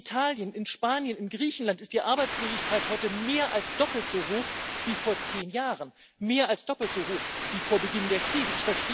In Italien, in Spanien, in Griechenland ist die Arbeitslosigkeit heute mehr als doppelt so hoch wie vor zehn Jahren, mehr als doppelt so hoch wie vor Beginn der Krise.